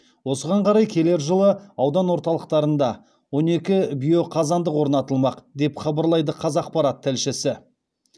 осыған қарай келер жылы аудан орталықтарында он екі биоқазандық орнатылмақ деп хабарлайды қазақпарат тілшісі